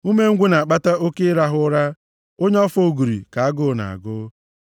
Umengwụ na-akpata oke ịrahụ ụra, onye ọfọ ogori ka agụụ na-agụ.